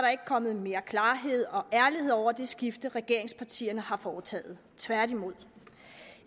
kommet mere klarhed og ærlighed over det skifte regeringspartierne har foretaget tværtimod